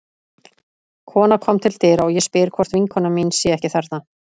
Kona kom til dyra og ég spyr hvort vinkona mín sé ekki þarna.